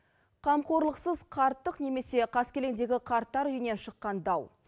қамқорлықсыз қарттық немесе қаскелеңдегі қарттар үйінен шыққан дау